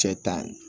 Cɛ ta